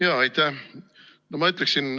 Jaa, aitäh!